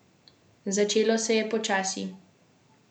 Začelo se je počasi.